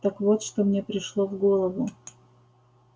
так вот что мне пришло в голову